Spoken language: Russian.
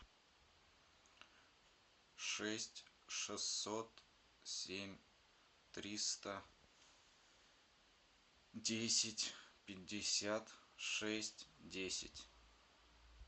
шесть шестьсот семь триста десять пятьдесят шесть десять